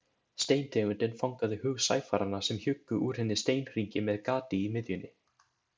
Steintegundin fangaði hug sæfaranna sem hjuggu úr henni steinhringi með gati í miðjunni.